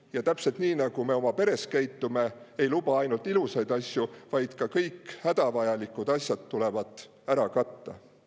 Ja täpselt nii, nagu me oma peres käitume, et ei luba ainult ilusaid asju, vaid kõik hädavajalikud kulud tuleb ära katta.